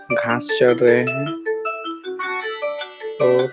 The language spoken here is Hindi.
घाँस चर रहे हैं और--